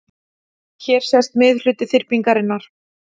Hér sést miðhluti þyrpingarinnar.